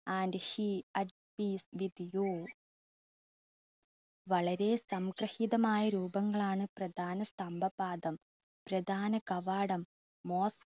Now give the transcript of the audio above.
and she atlese with you വളരെ സംക്രാഹീതമായ രൂപങ്ങളാണ് പ്രദാന സ്തംഭപാദം. mosk